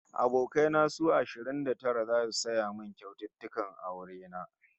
Abokai na su ashirin da tara zasu saya min kyaututtukan aure na